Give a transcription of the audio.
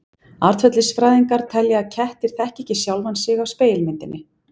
Atferlisfræðingar telja að kettir þekki ekki sjálfa sig af spegilmyndinni.